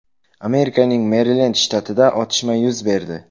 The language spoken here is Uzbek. Amerikaning Merilend shtatida otishma yuz berdi.